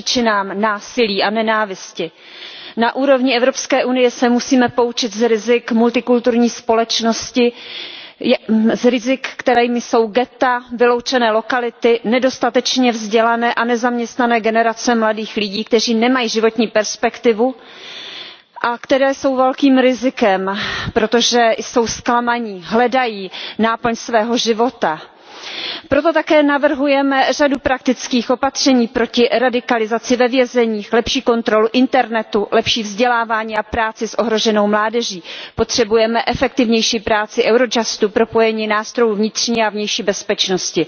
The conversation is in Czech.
Paní předsedající, je naší povinností zajistit bezpečnost a bojovat proti všem příčinám násilí a nenávisti. Na úrovni Evropské unie se musíme poučit z rizik multikulturní společnosti. Z rizik, kterými jsou ghetta, vyloučené lokality, nedostatečně vzdělané a nezaměstnané generace mladých lidí, kteří nemají životní perspektivu a kteří jsou velkým rizikem, protože jsou zklamaní, hledají náplň svého života. Proto také navrhujeme řadu praktických opatření proti radikalizaci ve vězeních. Lepší kontrolu internetu, lepší vzdělávání a práci s ohroženou mládeží. Potřebujeme efektivnější práci Eurojustu, propojení nástrojů vnitřní a vnější bezpečnosti.